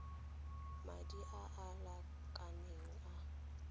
madi a a lekaneng a